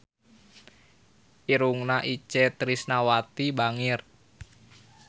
Irungna Itje Tresnawati bangir